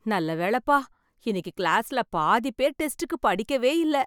நல்ல வேலப்பா இன்னைக்கு கிளாஸ்ல பாதி பேர் டெஸ்டுக்கு படிக்கவே இல்லை